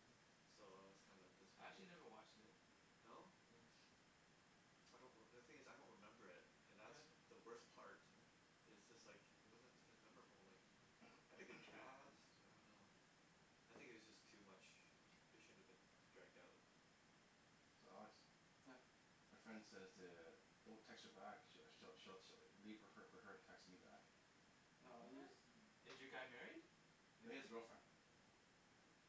Hmm So I was kinda I disappointed actually never watched it No? yes I don't reme- the thing is I don't remember it and that's the worst part yeah it's just like it wasn't as memorable like Hmm it had a good cast, I don't know I think it was just too much it shouldn't have been Hmm dragged out. So Alex yeah My friend says to don't text her back she'll she'll she'll leave fo- leave it for her to text me back No What? use- th- Is your guy married? No he has a girlfriend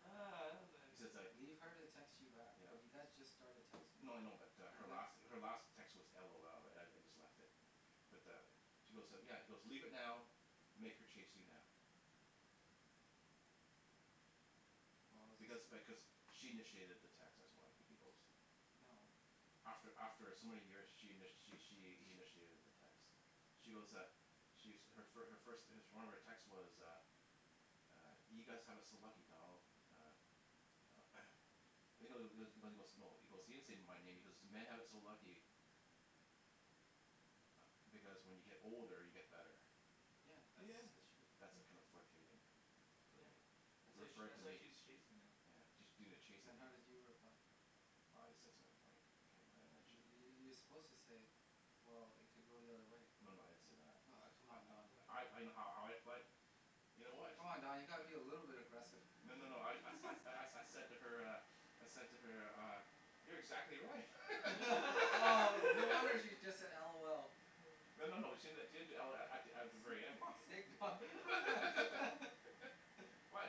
ah He says like Leave her to text you back but yeah you yeah guys just started No texting no I know but uh her last her last text was LOL right I I just left it Yeah but uh She goes yeah he's goes leave it now make her chase you now Well it's Because just th- because she initiated the text that's why he goes No After after some many years she in- she she initiated the text She goes uh She's her first her first one of her text text was uh uh you guys have it so lucky Donald uh uh He he goes he goes no he goes he didn't say my name he goes "men have it so lucky" ah because when you get older you get better Yeah that's yeah that's true That's a kind yeah of flurtating yeah uh-huh That's why referring referring to that's why me she's chasing now yeah she's doing the chasing Then now how did you reply I just said something funny I can't remember and then she you're suppose to say well it could go the other way No no I didn't say that Oh come I on Don I I I know how I I fled You know what Come on Don you gotta be a little bit agressive No no no I Hmm I I, I said to her uh I said to her uh You're exactly right oh no wonder she just said LOL Hmm No no no she didn- she didn't do LOL at th- at the very For end fuck's sake guy Huh Why?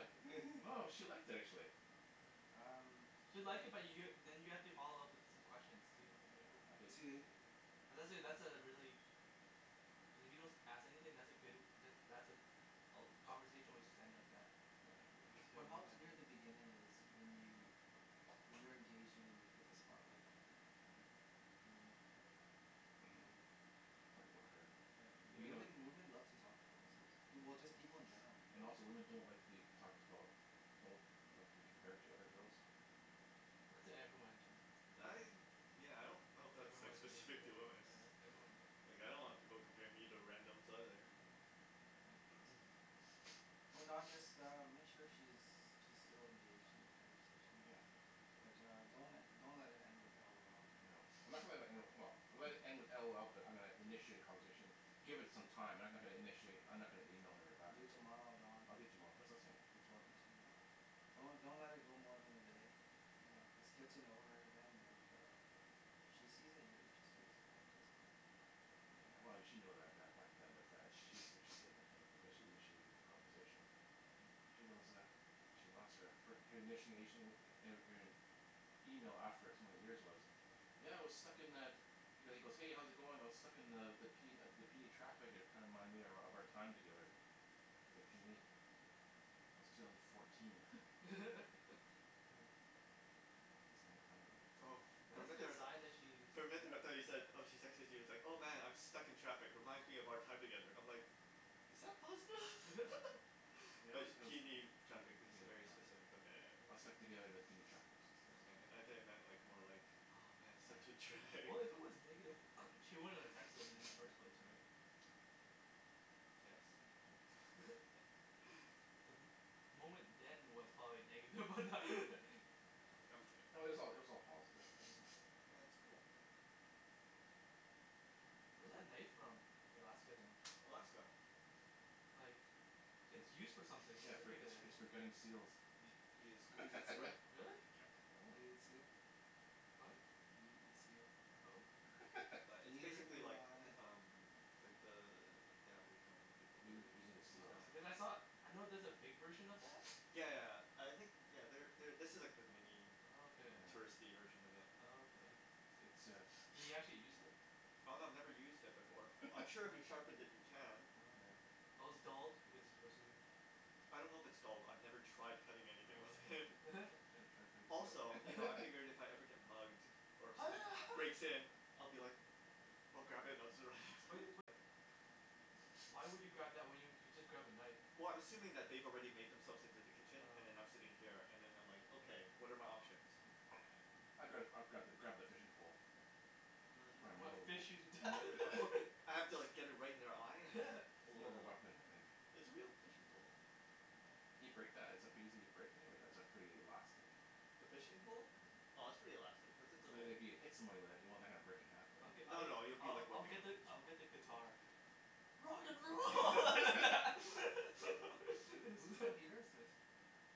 No she liked it actually yeah Um She'll like it but you're then you have to follow up with some questions too right Yeah I didn't To cuz that that's a really cuz if you don't as- ask anything that's a good that that's a all the conversation will just end like that Yeah Or I it'll I just Wh- be a what one helps time near thing the beginning is when you when you're engaging and you put the spotlight on her Hmm yeah you make it about her and then you talk about her yeah But you know women yeah women love to talk about themselves du- just people Yup in general right And also women don't like to be talked about Don't like to be compared to other girls That's e- everyone in general, yeah yeah. I yeah I don't know if that's that's like everyone yea- specific to yeah women yeah that's everyone ge- like I don't want people comparing me to randoms either. yeah Yeah Oh Don just uh make sure she's she's still engaged in the conversation yeah but uh don't le- don't let it end with LOL No I'm not gonna le- let it end, well I'll let it end with LOL but I'm gonna initiate a conversation Give it some time I'm no- not gonna initiate I'm not gonna email her back Do it until tomorrow Don I'll do it tomorrow that's what I was saying I'll do it tomorrow Do it tomorrow yeah Don't don't let it go more than a day yeah Just get to know her again and uh if she yeah sees that you're interested as well it does help Yeah well she know that ba- back yeah but that she's interested in a thing because she initiated th- the conversation she goes uh She lost her fir- her initiation er er her email after so many years was yeah I was stuck in the He he goes hey how's it going I was stuck in the the the P the PNE traffic and it kinda reminded me of of our time together at the PNE That was two thousand fourteen yeah It's a long time ago Oh for But for a that's a minute there I good was like sign that she's For a minute there I though you said yeah oh she texted you it's like "oh man I'm stuck in traffic reminds me of our time together" I"m like is that positive? yeah Yeah it but was it was P PNE traffic that's a PNE very traffic specific look at it. I was stuck yeah together at the PNE traffic she says, okay yeah I though you yeah meant like more like oh man such a yeah we- drag. well if it was negative she She wouldn't wouldn't have have texted texted him i- me in in the the first first place place right yes Hmm The mo- moment then was probably negative but that Oh I'm I'm kidding No it was all it was yeah all positive right yeah so? yeah that's cool Where's that knife from the Alaska thing Alaska like It's It's used for for something yeah its specifically for yeah its for yeah gutting seals He is Do you eat exactly seal? right, Really? yup. Oh Do you eat seal? What? Do you eat seal? no But it's Neither basically do like I uh-huh umm like the the aboriginal people yeah over there eating use eating the use seals Oh knives because I saw, I know there's a big version of that yeah yeah I think you know there there this is the mini Oh okay. yeah touristy version of it Oh okay It's uh Can you actually use it? Oh no I've never used it before, I'm sure if you Oh sharpen it you can. Oh okay yeah Oh its dulled because it's for a souvenir I don't know if its dulled I've never tried cutting anything with Oh it okay you should try cutting seal Also you know I figured if I ever get mugged or ho somebody ha breaks in I'll be like oh God. Bu- you but wh- why would you grab that when you you could just grab a knife Well I'm assuming that they've already made themselves into the kitchen and oh then I'm sitting yeah here and them I'm like okay oh what are my options? Hmm I'd gra- I'd grab grab the fishing pole Oh It's it is I probably wanna pretty more wo- fish you to death more I put I have to like get it right in their eye and then More of a weapon I think yeah It's a real fishing pole. Yeah can you break that is it pretty easy to break you think or is it pretty elastic The fishing pole? yeah Oh it's pretty elastic, like it's an So that old if Hmm you hit someone with that you don't want that to kinda break in half but I'l- No I'll no you'll I- be I- like I'll whipping get them the I'll Oh get the You'll whip them guitar good Rock and roll Who who's computer is this?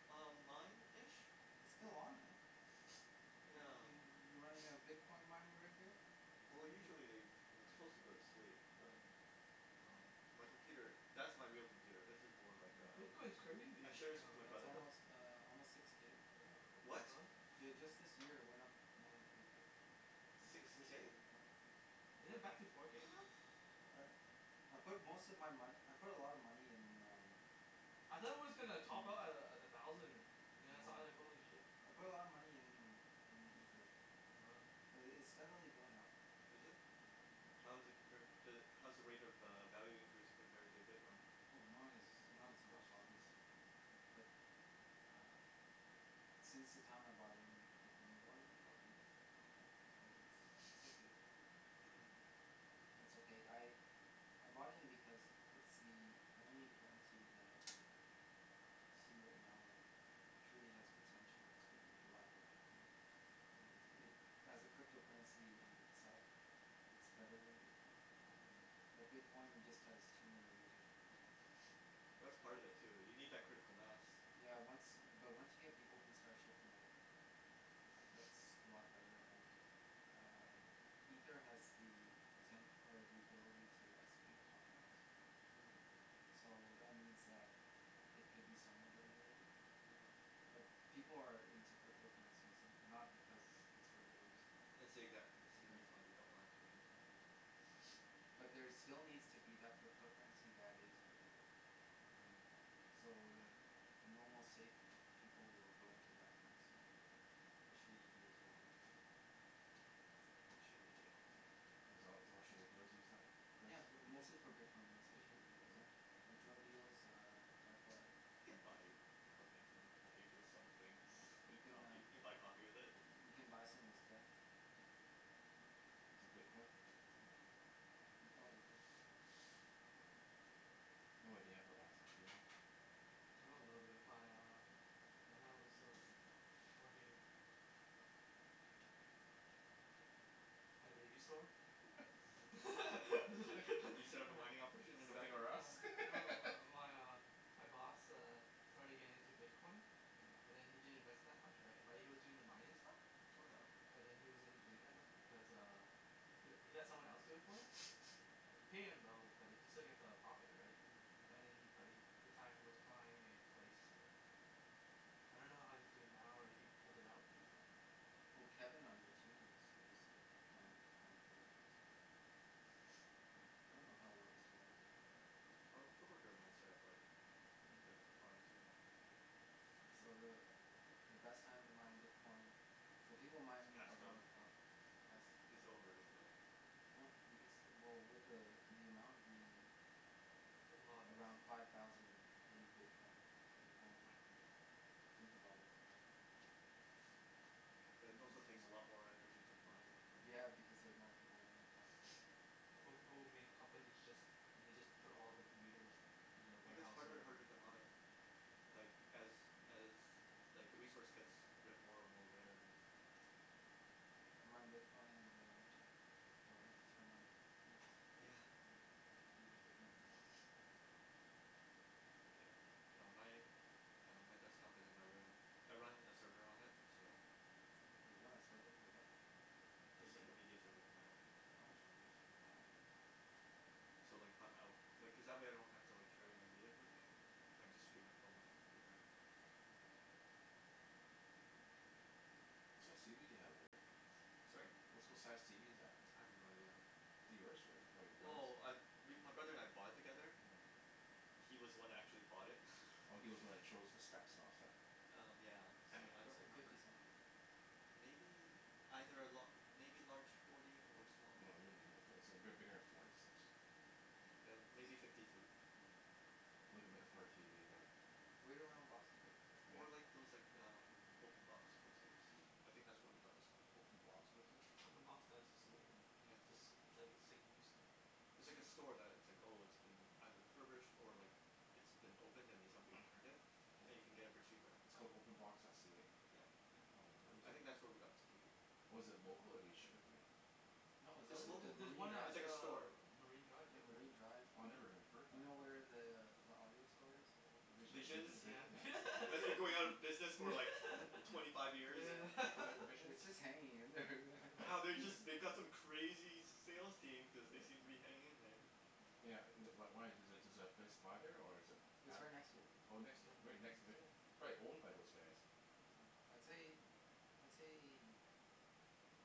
Um mine ish It's still on eh yeah y- you running a bitcoin mining rig here? Well Hmm hmm usually they it- it's suppose to go to sleep oh but um my yup computer that's my real computer this is more like No uh bitcoin's I crazy share this with my yeah no it's what brother the almost uh almost six k yeah like what the what? fuck yeah just this year it went up more than three k It's six just yeah this k? year alone Is it back to uh four k now? I I put most of my mone- I put a lot of money in um I thought it was gonna top Mm out a- a- at a thousand or now I No saw it I was like no holy shit I put a lot of money in in ether Oh okay but it it's steadily going up Is it? yeah yeah How's it compared to how's the rate of uh value increasing compared to bitcoin? Oh not as not not as much close yeah obviously bu- but ah since the time I bought in it more then doubled okay so it's it's okay It's okay I I bought in because it's the only currency that I can see right now that truly has potential to rival bitcoin and oh it, as a crypto currency in itself it's better then bitcoin uh-huh but bitcoin just has too many users right now but that's part of it too you need that yeah critical mass yeah once but once you get people who start shifting over uh that's a lot better and um ether has the poten- or the ability to execute contracts Hmm so that means that it could be somewhat regulated uh-huh but people are in to crypto currencies no- not because it's regulated It's the exact- That's the yeah reason they don't want it to be Hmm huh but there still needs to be that crypto currency that is regulated yeah Hmm so the the normal safe people will go into that currency and then the shady deals will go into the other one Yup shady deals yup why it's all it's all shady deals use that yeah currency? bu- yeah mostly for bitcoin mostly and one shady other deals Really? thing like drug oh deal yeah um dark web You can buy equipment and pay for some things you can coffee you uh can can buy coffee with it you can buy someone's death Using bitcoin? yeah you oh probably could No idea about that stuff do you know? I know a little bit my uh when I was working at a baby store uh-huh You set up a mining operation in the back Something room r' Us Uh no my my uh my boss uh starting getting into bitcoin but then he didn't invest that much right but he was doing the mining stuff Okay but then he wasn't doing that much because uh he he let someone else do it for him yeah you pay him though but then he still get a profit right an- uh-huh and then but he at the time was buying a place so yeah I don't know how he's doing now or if he pulled it out so I don't know Well Kevin on your team is was uh mining bitcoin for the longest time Hmm I don't know how well he's doing oh though Oh a co-worker of mine set-up like a bit of a yeah farm too yeah so the uh the best time to mine bitcoin well people It's mine passed though around the clock Is pass it's oh over isn't it? No you can still well with the uh the amount being There's a lot of us around now five thousand a bitcoin a coin think about it right But it you can also still takes yeah, a mine lot more yeah energy to mine one now yeah yeah because they're more people in it now yeah Before people would made companies just and they just put all the computers yeah in the And it get's warehouse harder and whatever harder to mine like as as like the resource gets ra- more and more uh-huh rarer Hmm you mine bitcoin in the winter don't have to turn on heat yeah yeah computers will heat the house uh-huh yeah no my uh my desktop is in my room I run a server on it so For a Just like game a media server for my own oh personal use wow Hmm So like if I'm out Like cuz that way I don't have to like carry my music yeah with me. I just stream it from my computer uh-huh it's cool What size tv do you have there Rick? Sorry? Wha- what size tv is that? I have no idea Is it yours or your brother's? Well I we my brother and I bought it together Hmm He was the one who actually bought it Oh he's was the one who Hmm chose the specs and all that stuff Um yeah so I don't looks like remember fifty something Maybe. Either a la- maybe larger forty or small No it fifty wouldn't be more for- it's big- bigger then forty six Okay yeah then fifty maybe something fifty two yeah I'm looking looking If Hmm for a that then tv there yeah wait around boxing day yeah Or like those like um open box places I think that's where we got this one Open box places? openbox.c- ca right? Yeah yeah It's ju- it's like it's like used stuff It's It's like use- a store that it's like yeah oh it's been either refurbished or like it's been opened and then somebody returned it and you yeah can get it for cheaper. It's called openbox.ca? Yeah yeah Oh I never it's a head of I it think website that's where we got this tv. Oh is it local or do they ship it to you? no it's uh It's local there's just local, there's Marine one at it's Drive like a uh store Marine Drive yeah too right Marine Drive Oh I never uh-huh even heard you that know where yeah the uh the audio store is what was it Visions Visions Vision Yeah and Vi- yeah That's been going out of business for yeah like twenty five years yeah yeah Vi- Visions its just hanging in there Wow yeah they just they've got some crazy sales yeah team cuz they seem to be yeah hanging in there yeah yeah yeah Yeah uh wh- wh- why is the is the place by there or is it its at right next to it Oh next yeah yeah right right next to next to Vision it It's probably year owned by those guys yeah I'd say Hmm I'd say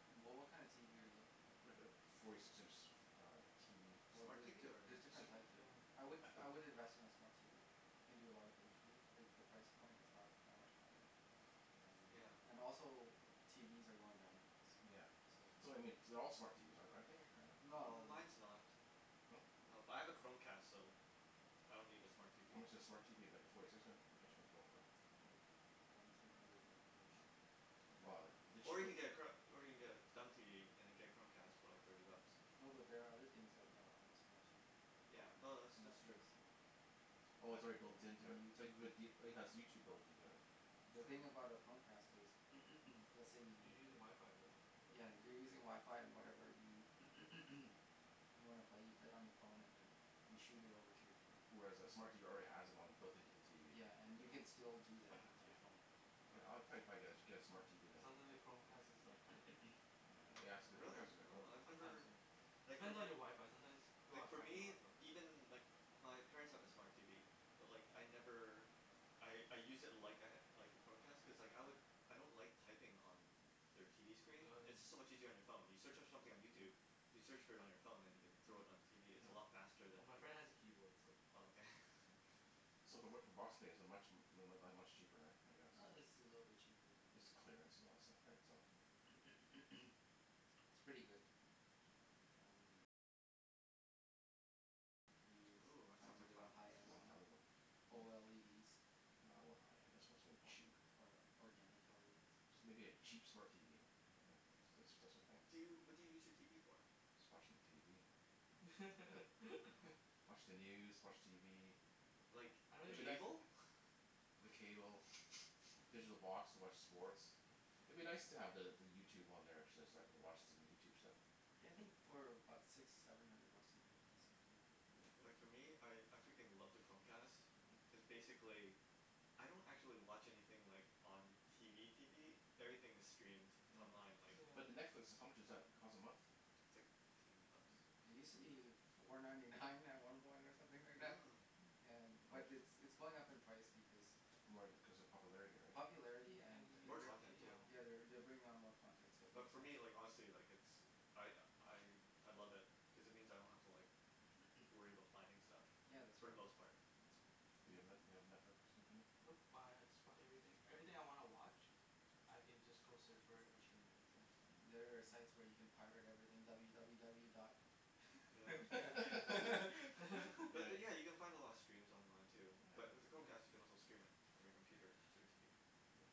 wha- what kind of tv are you looking for? Like a forty six inch uh tv well Smart tv the- or there's different different types there yeah I would I would invest in a smart tv it can do a lot of things for you and the price point is not that much higher um yeah and also TVs are going down in price yeah so um so I mean th- their all smart TVs are- aren't they or no? not all of them Mines no not No but I have a Chromecast so I don't need a smart TV How much does a smart Hmm TV like a forty six in- inch one go for? ah like one or two hundred more than an Well actual the Or cheap you of can get a chro- or you can get a dumb TV and then get a Chromecast TV for like thirty bucks no but there are other things that are on a smart TV like Yeah uh no net- that's that's Netflix true and Oh I it's an- already built an- into and it bu- YouTube but do- it has YouTube built into it? yeah, the thing yeah Mm about a Chromecast is let's say You're you using wifi right over yeah you're using wifi and whatever you you wanna play you play it on your phone and then you shoot it over to your TV Whereas a smart yeah TV already has it on it built into the TV yeah and you Mm can yeah still do that with your yeah phone Yeah I I Yeah yeah probably probably get a get a smart TV It then sounds li- like Chromecast is like kinda iffy Yeah yes the Really? Chromecast is oh Oh I've sometimes never uh It Like fo- depends on your wifi sometimes pe- people Like have for crappy me, wifi even like wh- my parents have a smart TV but like I never I I use it like I ha- like a Chromecast cuz like I lik- I don't like typing on their TV screen oh it's just so yeah Mm much easier on your phone, you search on something on yeah YouTube you search for it on your phone then you can thrown it on yeah your TV its no, a lot faster than well my friend has a keyboard so oh okay yeah so So if I went for boxing day is it much mu- mu- much cheaper right I guess uh it's a little bit cheaper yeah It's clearance and all that stuff right so yeah it's pretty good Hmm are you Ooh that trying sounds to like get a fun high end Long one time ago Oh No I don't want high end I want something or cheap or organic LEDs Just maybe a cheap smart TV Yeah if if that's that's a thing Do you, what do you use your TV for? Just watching TV oh watch the news watch TV oh Like I- I- don't I'd be even nic- use uh it cable? the cable digital oh box to watch sports huh Oh I'd be nice to the the YouTube on there actually so I can watch some YouTube stuff yeah I think for about six seven hundred bucks you can get a decent TV Yeah Like for me I I freaking love the Chromecast uh-huh cuz basically I don't actually watch anything like on TV TV everything is streamed it's yeah online like yeah But the Netflix how much does that cost a month It's like fifteen bucks yeah it use to be four ninety nine at some point or something like that Hmm yeah How but muc- it's it's going up in price because More cuz of popularity right popularity yeah and an- More they're u- content too yeah yeah they're they're bring on more content so it But makes for sense me Hmm like honestly like it's I I I love it cuz it means I yeah don't have to like worry about finding stuff yeah that's for right the Hmm most part. that's right Do you have Net- do you have Netflix too Jimmy? Nope I I just watch everything, everything I wanna watch I can just go search for it or stream it that's it hmm yeah oh there are site yeah where you can pirate everything w w w dot yeah yeah yeah But yeah then yeah you can find a lot of steams online too but yeah with the yeah Chromecast you can also stream it from your computer to your TV. yeah yeah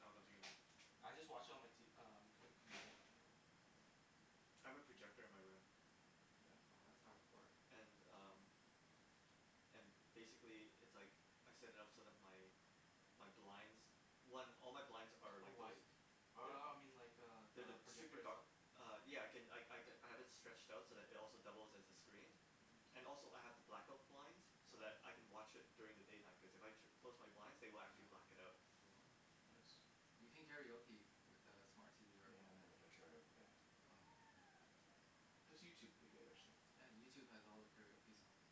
I don't know if you can I just watch on my t- uh on my com- computer anyways Mm yeah I have a projector in my room. yeah oh that's hardcore and um and basically it's like I set it up so that my my blinds one all my blinds are are like those white uh they- uh I mean like They're the the project super dark itself Uh yeah I can I I have it stretched out so it also doubles as a screen Mmm and also I have the black-out blinds oh so yeah that I can watch it during the daytime cause if I tu- close my blinds they will actually oh black it out cool Hmm nice you can karaoke with uh smart TV or Yeah not Chromecast much of a karaoke guy oh Hmm okay Just YouTube would be good actually yeah YouTube has all the karaoke songs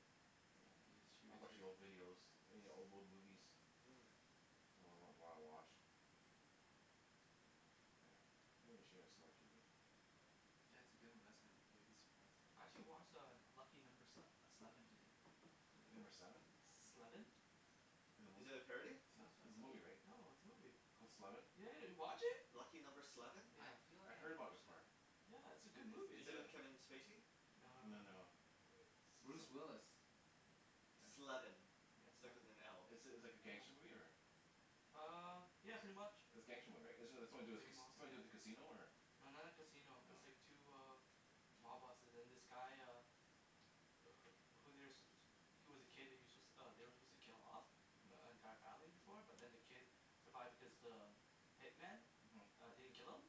you just Yeah shoot I'll it to watch your the old TV videos any old old movies yeah Hmm If you wanna wa- wa- watch Yeah maybe I should get a smart TV yeah it's a good investment you'll be surprised I actually watch uh Lucky Number Sle- Sleven today Lucky Number Seven? Sleven Is it a Is it movie? a parody? sounds It's it's a movie familiar right? No it's a movie Called Sleven yeah yeah you watch it? Lucky Number Sleven? I yeah feel I like heard I've about it watched that before Yeah it's a It good it it's movie Is it a with Kevin Spacey? no No no no no Bruce some- Willis yeah Sleven, yeah like sleven with an L. It's it's like a gangster yeah movie or? ah uh yeah pretty much It's gangster movie right it it's something to yeah do it's with like ca- a it's mob something to do yeah with a casino or? no not like casino its Oh like two uh mob bosses and this guy uh wh- who they're su- suppo- he's was a kid he was su- they were suppose to kill off the Hm entire family before but then the uh-huh kid survived because the hitman uh-huh didn't kill him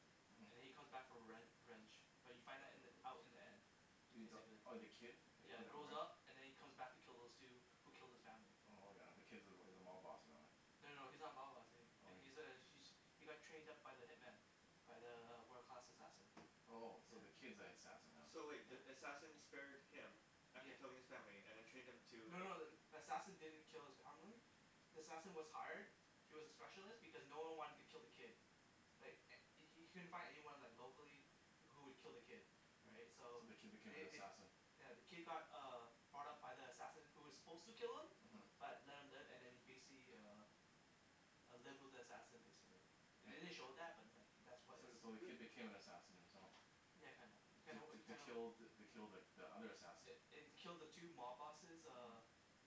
and then uh-huh he come back for rev- revenge but you find that in the oh out in shit the end uh the basically oh the kid it yeah comes back grows around up and then he comes back to kill those two who killed his family Oh yeah the kid's- is a mob boss and all yeah no no no he's not a mob boss a- oh he's a he he got trained up by the hitman by the wo- world class assassin Oh so the yeah kid's the assassin now? So wait the yeah assassin spared him after yeah killing his family and then trained him to No no the- then the assassin didn't kill his family the assassin was hired he was a specialist because no one wanted to kill the kid like h- he couldn't find anyone like locally wh- who would kill the kid right right so So the kid became an they they assassin yeah the kid got uh brought up by the assassin who was suppose to kill him uh-huh uh-huh but left him live and then he basically uh uh lived with the assassin basically the- they didn't It show oh that but like that was So is so the who kid became an sup- assassin himself yeah kinda, you kinda To you to kinda kill the kill the the other assassin eh eh to kill the two mob bosses uh uh-huh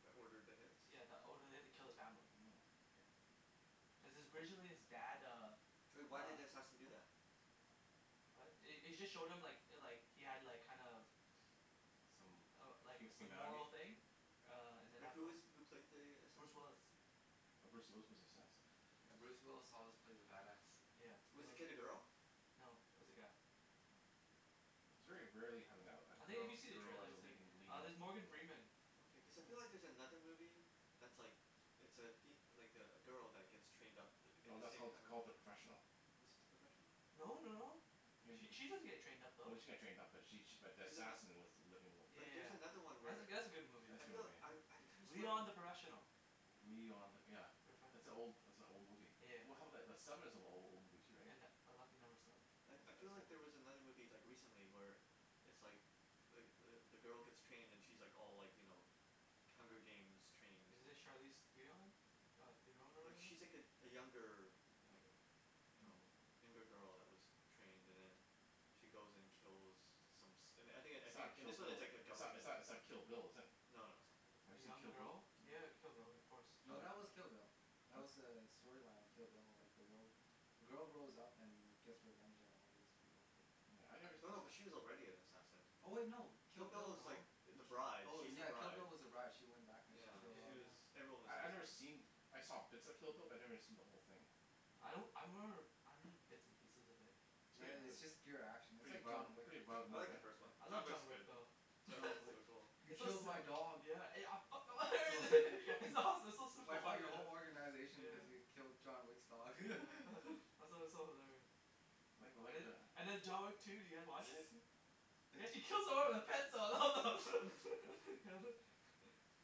That ordered the hits yeah that ordered the hit to kill his family Mmm yeah cuz his originally his dad uh But why did uh the assassin do that? what it- it just showed him like like he had like kind of Some uh like hu- some humanity moral thing uh and then But who afterward is who played the Bruce assassin? Willis Oh Bruce Willis was the yeah assassin yeah Bruce Willis always plays a bad ass yeah he Was the al- kid a girl? , no it was a guy yeah oh Hmm yeah It's very rarely having a a I think if girl you see the girl as trailer a say leading leading there's role Morgan Freeman Okay cause I feel yeah like there's another movie that's like It's a fem- like a a girl that get's trained up th- in No the that's same called kinda called The Professional Is it The Professional? no no no It She wa- she doesn't get trained up No though she got trained up but she she but the She's an assassin was the living with yea- the Like there's yea- another one yeah where that that's a good movie That's I a good feel movie I I though could've sworn Leon The Professional Leon The yeah That's an old that's a old movie yeah Well how I about the the Sleven is an a- old movie too right and a Lucky Number Sleven That's I I that's feel like old there was mov- another movie like recently where it's like like the the girl gets trained and she like all like you know Hunger Games trained Is it Charlize Theon? mm Theron or like whatever? she's like a younger like you know younger Hmm girl that was trained and then she goes and kills some som- I thin- I It's not think Kill this one its Bill like a it's not government it's not Kill Bill is it? no no it's not Kill Bill Have A you seen young Kill Bill girl? Yeah you have a Kill Bill of course Did you No like it? that was Kill Bill huh? That's was uh the storyline of Kill Bill like the girl the girl grows up and gets revenge on all these people Yeah I nev- us- no no but us- she was already an assassin Oh no Kill Kill Bill Bill was like No th- Ki- the bride oh she's the yeah yeah Kill bride Bill was the brige she went back and she yeah yeah killed she all these was yeah yeah everyone was I I've never seen I saw bits of Kill Bill but I never seen the whole thing I don't Hmm I remember I remember bits and pieces of it It's yeah prett- it- its yeah just uh pure action it's Pretty like violent John mo- yeah Wick pretty violent I movie like the yeah. hey first one I John love yeah, Wick's John Wick good though yeah John Wick is John Wick so cool he It's so killed my sil- dog yeah I I fuck- fucken it's awesome it's so super wipe out your violent whole organization because yeah you Hmm killed John Wick's dog yeah it's it's so hilarious I like I and like the- the and then John Wick two did you guys watch it? He actually yeah kills someone with a pencil oh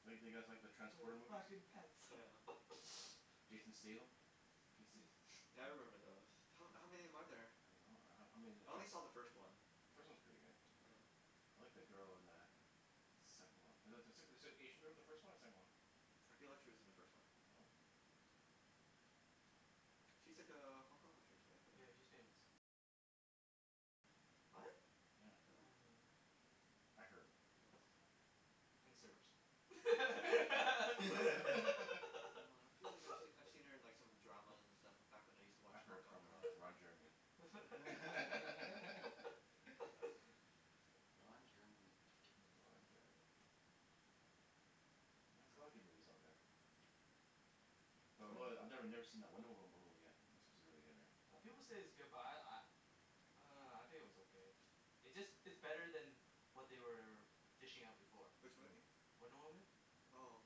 Do you like do you guys like the wear Transporter the movies fucking pants yeah Jason Statham can yo- se- Yeah I remember those, ho- how many are there? I don't know ho- how many of I the only trans- saw the first one The first one's pretty good Yeah I like the girl in the second one Is is the sec- is the Asian girl in the first one or the second one I feel like she was in the first one Oh Hmm yeah She's like a Hong Kong actress right Yeah or she's famous what? yeah Yeah? I didn't know that I heard Oh and Oh searched No I feel like I I've seen her in some dramas and stuff back when I use to watch I Hong heard Kong from uh dramas Ron Jeremy Ron Jeremy Ron Jeremy Yeah there's a lot yeah of good movies out there But depends I I never never seen that Wonder Woma- Woman movie yet that's suppose to be really good right uh people say its good but I I uh I think it was okay It's just it's better then what they were dishing out before Which Hmm movie? Wonder Woman Oh